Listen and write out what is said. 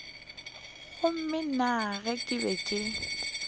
gomme nna ke be ke